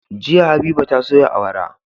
Jiya habiba ta soya awara